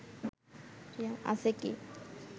আছে কি